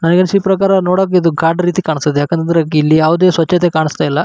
ನಾ ಎನ್ಸಿದ್ ಪ್ರಕಾರ ನೋಡೋಕ್ ಇದು ಘಾಟ್ ರೀತಿ ಕಾಣಿಸ್ತಿದೆ. ಯಾಕೆಂದ್ರೆ ಇಲ್ಲಿ ಯಾವುದೇ ಸ್ವಚ್ಛತೆ ಕಾಣಿಸ್ತಿಲ್ಲ.